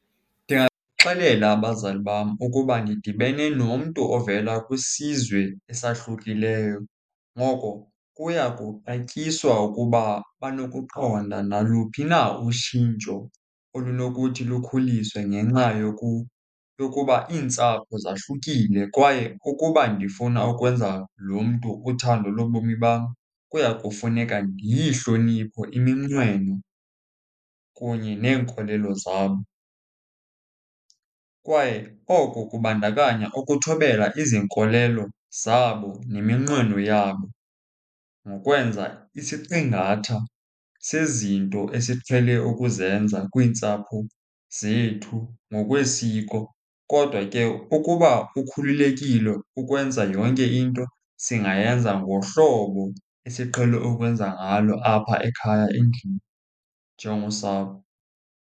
Ndingabaxelela abazali bam ukuba ndidibene nomntu ovela kwisizwe esahlukileyo. Ngoko kuya kuxatyiswa ukuba banokuqonda naluphi na utshintsho olunokuthi lukhuliswe ngenxa yokuba iintsapho zahlukile. Kwaye ukuba ndifuna ukwenza lo mntu uthando lobomi bam, kuya kufuneka ndiyihloniphe iminqweno kunye neenkolelo zabo. Kwaye oko kubandakanya ukuthobela izinkolelo zabo neminqweno yabo ngokwenza isiqingatha sezinto esiqhele ukuzenza kwiintsapho zethu ngokwesiko. Kodwa ke ukuba ukhululekile ukwenza yonke into, singayenza ngohlobo esiqhele ukwenza ngalo apha ekhaya endlini njengosapho.